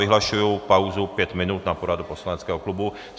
Vyhlašuji pauzu pět minut na poradu poslaneckého klubu.